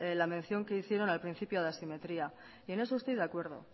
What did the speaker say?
la mención que hicieron al principio de la simetría y en eso estoy de acuerdo